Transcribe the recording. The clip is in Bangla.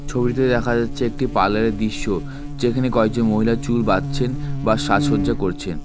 ছবিটিতে দেখা যাচ্ছে একটি পার্লারের দৃশ্য যেখানে কয়েকজন মহিলা চুল বাঁধছেন বা সাজসজ্জা করছেন।